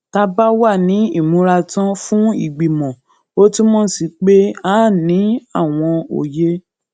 tá a bá wà ní ìmúratán fún ìgbìmò ó túmò sí pé a ní àwọn òye